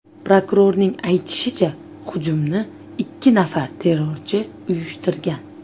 Prokurorning aytishicha, hujumni ikki nafar terrorchi uyushtirgan.